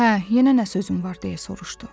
Hə, yenə nə sözün var, deyə soruşdu.